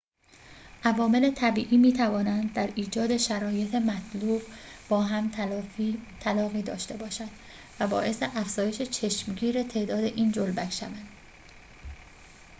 عوامل طبیعی می‌توانند در ایجاد شرایط مطلوب با هم تلاقی داشته باشند و باعث افزایش چشمگیر تعداد این جلبک شوند